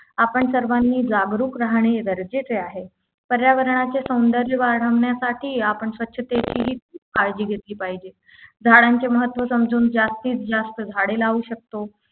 आपण सर्वांनी जागरूक राहणे गरजेचे आहे पर्यावरणाचे सौंदर्य वाढवण्यासाठी आपण स्वच्छतेची ही काळजी घेतली पाहिजे झाडांचे महत्त्व समजून जास्तीत जास्त झाडे लावू शकतो